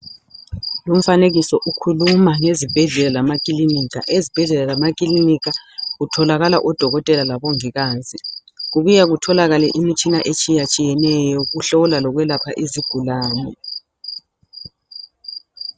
Umfanekiso ukhuluma ngezibhedlela lamakilinika. Ezibhedlela lamakilinika kutholakala odokotela labongikazi kubuye kutholakale imitshina etshiyatshiyeneyo yokuhlola lokwelapha izigulane